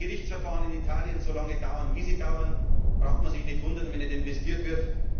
Wenn Gerichtsverfahren in Italien so lange dauern, wie sie dauern, braucht man sich nicht zu wundern, wenn nicht investiert wird.